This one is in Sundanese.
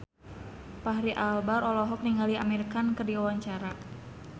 Fachri Albar olohok ningali Amir Khan keur diwawancara